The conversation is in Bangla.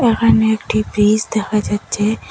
এখানে একটি ব্রিজ দেখা যাচ্ছে।